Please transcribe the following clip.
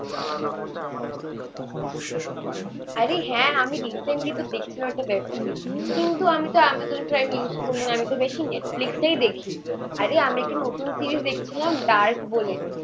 আরে হ্যাঁ আমি রিসেন্টলি তো দেখছিলাম ওটা ব্যাক করি কিন্তু আমি তো আমাজন প্রাইম ইউজ করি না. আমি তো বেশি নেটফ্লিক্সটাই দেখি. আরে আমি একটা নতুন সিরিজ দেখছিলাম ডার্ক বলে.